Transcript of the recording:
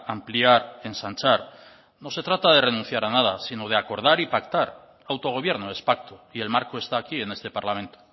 ampliar ensanchar no se trata de renunciar a nada sino de acordar y pactar autogobierno es pacto y el marco está aquí en este parlamento